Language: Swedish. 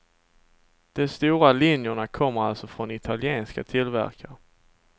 De stora linjerna kommer alltså från italienska tillverkare.